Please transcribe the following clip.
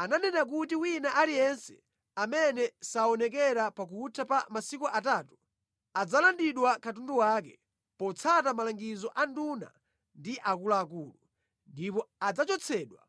Ananena kuti wina aliyense amene saonekera pakutha pa masiku atatu, adzalandidwa katundu wake, potsata malangizo a nduna ndi akuluakulu, ndipo adzachotsedwa